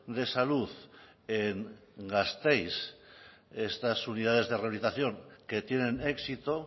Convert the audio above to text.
de salud en gasteiz estas unidades de rehabilitación que tienen éxito